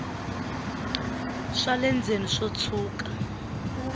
swa le ndzeni swo tshuka